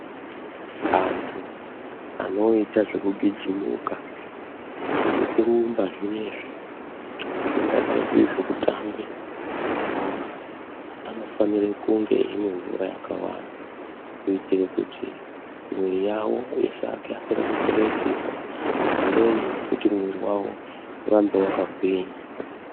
Antu anoita zvekugijimuka zvekurumba zvinoizvi zvingadai zviri zvekutambe bhora. Anofanire kunge eimwa mvura yakawanda kuitire kuti mwiri yavo isakasire kupere simba. Pamweni nekuti mwiri vavo urambe vakagwinya.